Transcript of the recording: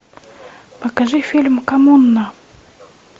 покажи фильм комунна